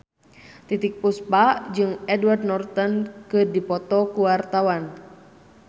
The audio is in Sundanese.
Titiek Puspa jeung Edward Norton keur dipoto ku wartawan